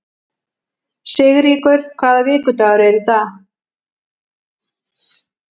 Sigríkur, hvaða vikudagur er í dag?